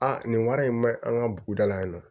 Aa nin wari in ma ɲi an ka buguda la yen nɔ